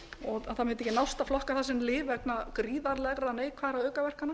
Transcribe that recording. og það mundi ekki nást að flokka það sem lyf vegna gríðarlegra neikvæðra aukaverkana